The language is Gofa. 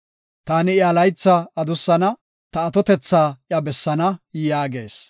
Taani iya laytha adussana; ta atotetha iya bessaana” yaagees.